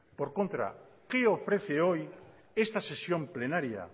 por contra qué ofrece hoy esta sesión plenaria